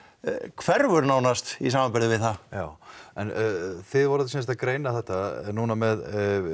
hverfur nánast í samanburði við það já en þið voruð sem sagt að greina þetta núna með